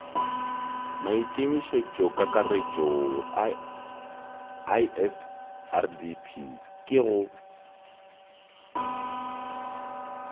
maikemišetšokakaretšo a isrdp ke go